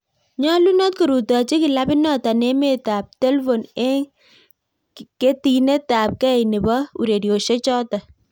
Nyalunot korutochi kilabit natok emet ab telvon eng ketinet ab kei nebo urerosiek chotok